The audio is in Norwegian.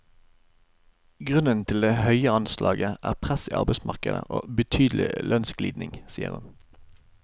Grunnen til det høyeanslaget er press i arbeidsmarkedet og betydelig lønnsglidning, sier hun.